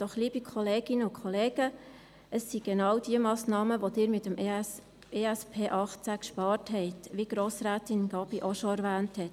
Doch, liebe Kolleginnen und Kollegen, es sind genau diese Massnahmen, die Sie mit dem EP 2018 eingespart haben, wie Grossrätin Gabi bereits erwähnt hat.